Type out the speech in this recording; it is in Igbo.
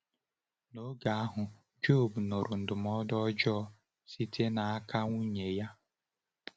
N’oge ahụ, Jọb nụrụ ndụmọdụ ọjọọ site n’aka nwunye ya.